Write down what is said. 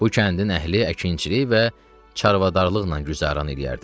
Bu kəndin əhli əkinçilik və çarvadarlıqla güzəran eləyərdi.